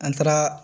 An taara